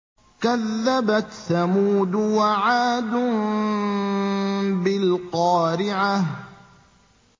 كَذَّبَتْ ثَمُودُ وَعَادٌ بِالْقَارِعَةِ